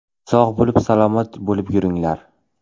Sog‘ bo‘lib, salomat bo‘lib yuringlar.